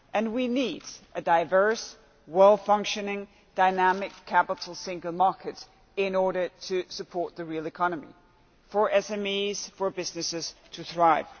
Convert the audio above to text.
We need a diverse, well-functioning, dynamic capital single market in order to support the real economy for SMEs and businesses to thrive.